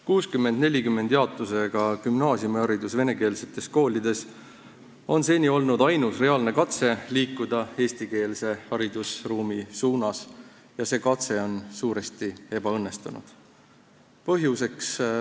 Jaotusega 60 : 40 gümnaasiumiharidus venekeelsetes koolides on seni olnud ainus reaalne katse liikuda eestikeelse haridusruumi suunas ja see katse on suuresti ebaõnnestunud.